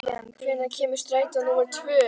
Vivian, hvenær kemur strætó númer tvö?